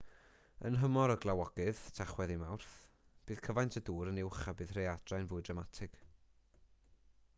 yn nhymor y glawogydd tachwedd i fawrth bydd cyfaint y dŵr yn uwch a bydd y rhaeadrau'n fwy dramatig